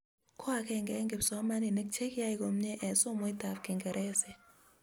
ko akenge en kipsomaninik che kiyai komie en somoitab kinkeresek